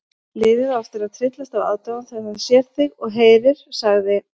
Liðið á eftir að tryllast af aðdáun þegar það sér þig og heyrir sagði